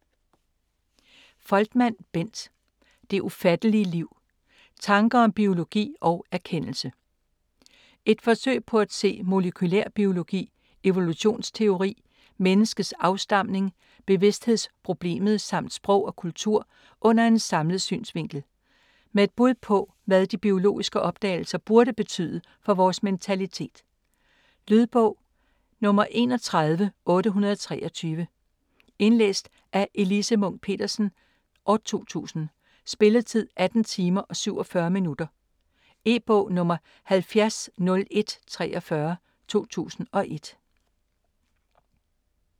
Foltmann, Bent: Det ufattelige liv: tanker om biologi og erkendelse Et forsøg på at se molekylærbiologi, evolutionsteori, menneskets afstamning, bevidsthedsproblemet samt sprog og kultur under en samlet synsvinkel. Med et bud på hvad de biologiske opdagelser burde betyde for vores mentalitet. Lydbog 31823 Indlæst af Elise Munch-Petersen, 2000. Spilletid: 18 timer, 47 minutter. E-bog 700143 2001.